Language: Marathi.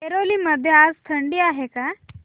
ऐरोली मध्ये आज थंडी आहे का